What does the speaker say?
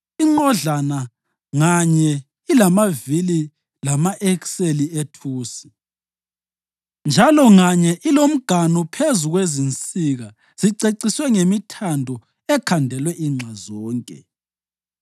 Inqodlana nganye ilamavili lama-ekseli ethusi, njalo nganye ilomganu phezu kwezinsika ziceciswe ngemithando ekhandelwe inxa zonke.